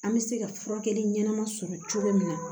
An bɛ se ka furakɛli ɲɛnama sɔrɔ cogo min na